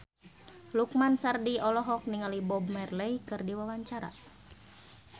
Lukman Sardi olohok ningali Bob Marley keur diwawancara